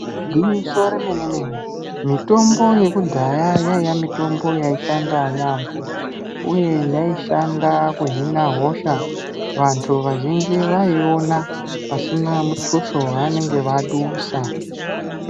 Igwinyiso re mene mene mitombo yekudhaya yaiya mitombo yai shanda yambo uye yaishanda ku hina hosha vantu vazhinji vaiona pasina mutuso wa vanenge vadusa.